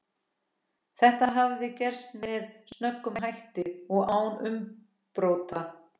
Þetta hafði gerst með snöggum hætti og án umbrota.